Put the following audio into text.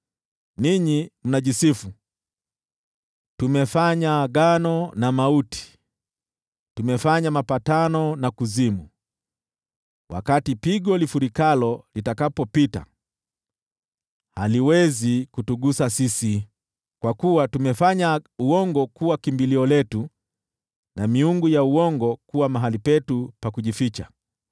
Ninyi mnajisifu, “Tumefanya agano na mauti, tumefanya mapatano na kuzimu. Wakati pigo lifurikalo litakapopita, haliwezi kutugusa sisi, kwa kuwa tumefanya uongo kuwa kimbilio letu na miungu ya uongo kuwa mahali petu pa kujificha.”